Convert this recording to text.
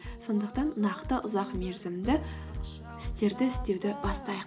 сондықтан нақты ұзақ мерзімді істерді істеуді бастайық